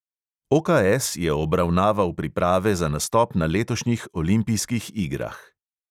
OKS je obravnaval priprave za nastop na letošnjih olimpijskih igrah.